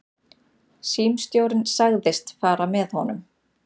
Símstjórinn sagðist fara með honum.